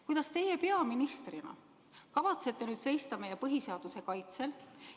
Kuidas teie peaministrina kavatsete nüüd seista meie põhiseaduse kaitsel?